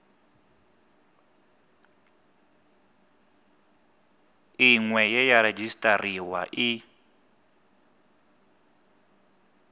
iṅwe ye ya redzisiṱariwa i